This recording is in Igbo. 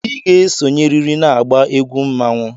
Ị ga-esonyerịrị n'agba egwu mmanwụ!